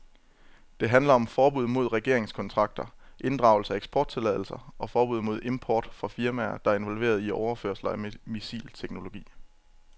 Det handler om forbud mod regeringskontakter, inddragelse af eksporttilladelser og forbud mod import fra firmaer, der er involveret i overførelser af missilteknologi.